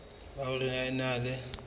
ba hore o na le